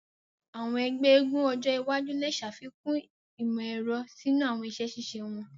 Àwọn egbé eégún ojo iwájú le ṣàfikún imọ-ẹrọ sínú àwọn iṣẹ ṣiṣe wón.